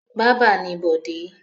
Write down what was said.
Bábà ni Bọ̀dé.